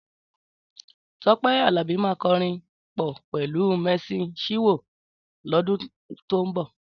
Tọ́pẹ́ Àlàbí máa kọrin pọ̀ pẹ̀lú Mercy Chinwo lọ́dún tó ń bọ̀.